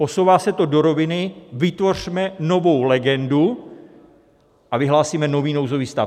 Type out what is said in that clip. Posouvá se to do roviny: vytvořme novou legendu a vyhlásíme nový nouzový stav.